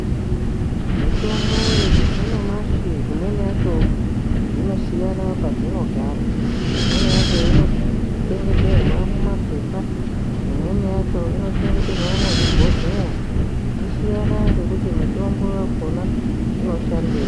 Mitombo yanyamashi imweni yacho dzinosiyana padzinogara imweni yacho inochengeterwa mumapepa imweni yacho inochengeterwa muzvibhohleya echisiyana ngekuti mutombo wakona unoshandei.